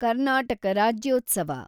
Karnataka Rajyotsava